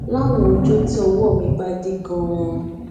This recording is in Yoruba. láwọn ọjó tí ọwó mi bá dí ganan